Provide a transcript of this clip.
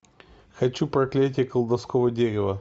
хочу проклятие колдовского дерева